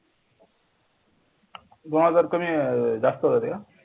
दोन हजार कमी, जास्त का